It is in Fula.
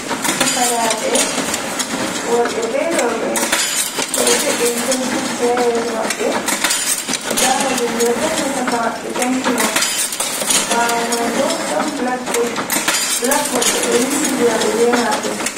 Fukaraɓe worɓe be roɓe ɓeɗo jo’ini tesebokji ha yeso maɓɓe, nda mallumjo ɗo dari ha caka maɓɓe jangina. Ɓawo mai bo ɗon blackbot, blackbot ɓeɗo windidira ɓe be majun.